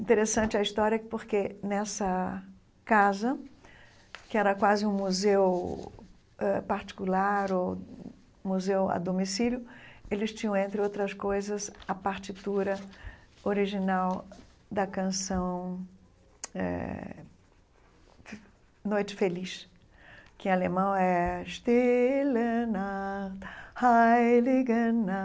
Interessante a história porque nessa casa, que era quase um museu ãh particular ou museu a domicílio, eles tinham, entre outras coisas, a partitura original da canção eh Noite Feliz, que em alemão é... Stille Nacht, heilige Nacht,